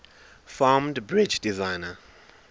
famed bridge designer